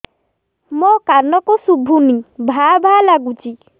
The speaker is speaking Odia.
ମୋ କାନକୁ ଶୁଭୁନି ଭା ଭା ଲାଗୁଚି